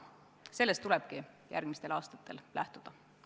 Sellest tulebki järgmistel aastatel lähtuda.